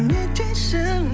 не дейсің